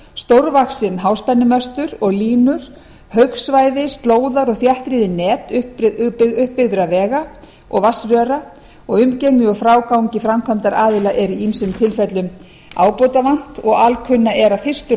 stórvaxin háspennumöstur og línur haugsvæði slóðar og þéttriðin net uppbyggðra vega og vatnsröra umgengni og frágangi framkvæmdaraðila er í ýmsum tilfellum ábótavant og alkunna er að fyrstu